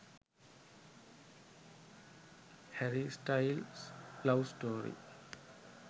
harry styles love story